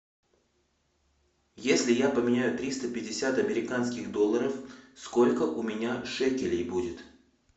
если я поменяю триста пятьдесят американских долларов сколько у меня шекелей будет